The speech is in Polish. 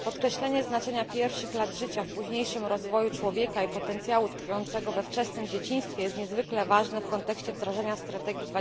Podkreślenie znaczenia pierwszych lat życia w późniejszym rozwoju człowieka i potencjału tkwiącego we wczesnym dzieciństwie jest niezwykle ważne w kontekście wdrażania strategii